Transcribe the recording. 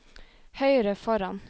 høyre foran